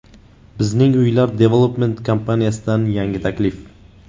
Bizning Uylar Development kompaniyasidan yangi taklif!